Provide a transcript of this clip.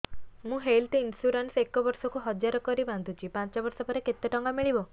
ମୁ health insurance ଏକ ବର୍ଷକୁ ହଜାର କରି ବାନ୍ଧୁଛି ପାଞ୍ଚ ବର୍ଷ ପରେ କେତେ ଟଙ୍କା ମିଳିବ